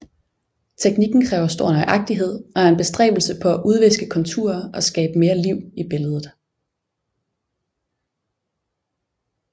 Teknikken kræver stor nøjagtighed og er en bestræbelse på at udviske konturer og skabe mere liv i billedet